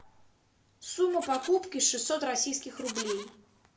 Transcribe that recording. сумма покупки шестьсот российских рублей